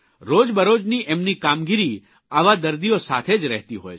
રોજબરોજની એમની કામગીરી આવા દર્દીઓ સાથે જ રહેતી હોય છે